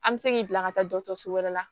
An bɛ se k'i bila ka taa dɔgɔtɔrɔso wɛrɛ la